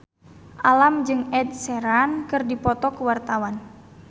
Alam jeung Ed Sheeran keur dipoto ku wartawan